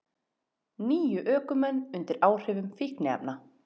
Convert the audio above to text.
Níu ökumenn undir áhrifum fíkniefna